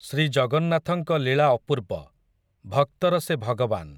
ଶ୍ରୀ ଜଗନ୍ନାଥଙ୍କ ଲୀଳା ଅପୂର୍ବ, ଭକ୍ତର ସେ ଭଗବାନ୍ ।